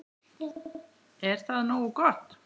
Er það nógu gott?